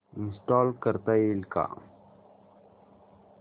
install करता येईल का